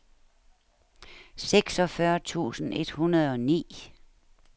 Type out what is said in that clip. seksogfyrre tusind et hundrede og ni